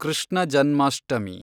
Krishna Janmashtami